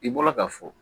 I bɔra ka fɔ